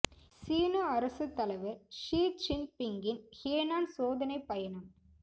சீன அரசுத் தலைவர் ஷி ச்சின் பிங்கின் ஹேனான் சோதனை பயணம்